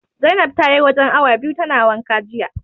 Zainab tayi wajen awa biyu tana wanka jiya.